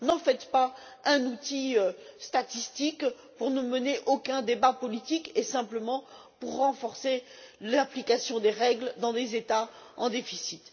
N'en faites pas un outil statistique pour ne mener aucun débat politique et simplement renforcer l'application des règles dans des États en déficit.